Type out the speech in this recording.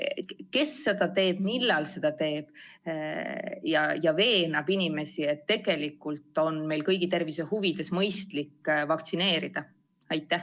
Kes seda tööd ikkagi teeb ja millal teeb, et veenda inimesi, et tegelikult on meil kõigi tervise huvides mõistlik lasta end vaktsineerida?